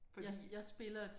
Fordi